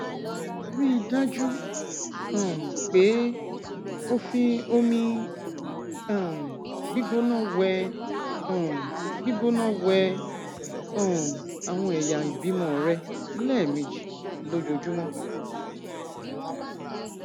ríi dájú um pé o fi omi um gbígbóná wẹ um gbígbóná wẹ um àwọn ẹyà ìbímọ rẹ lẹẹmejì lójúmọ